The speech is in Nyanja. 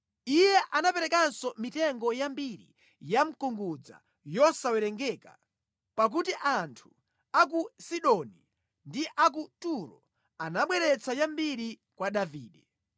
Iye anaperekanso mitengo yambiri ya mkungudza, yosawerengeka, pakuti anthu a ku Sidoni ndi a ku Turo anabweretsa yambiri kwa Davide.